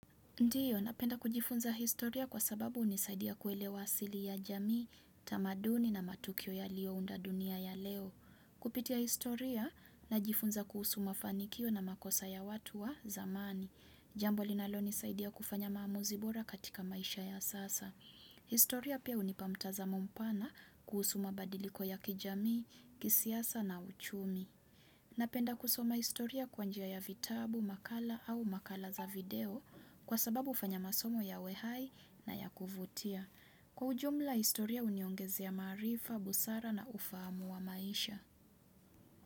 Ndio, napenda kujifunza historia kwa sababu hunisaidia kuelewa siri ya jamii, tamaduni na matukio yalio unda dunia ya leo. Kupitia historia, najifunza kuhusu mafanikio na makosa ya watu wa zamani. Jambo linalo nisaidia kufanya maamuzi bora katika maisha ya sasa. Historia pia hunipa mtazamo mpana kuhusu mabadiliko ya kijamii, kisiasa na uchumi. Napenda kusoma historia kwa njia ya vitabu, makala au makala za video kwa sababu hufanya masomo yawe hai na ya kuvutia. Kwa ujumla, historia huniongezea ya maarifa, busara na ufahamu wa maisha.